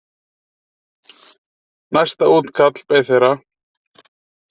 Næsta útkall beið þeirra.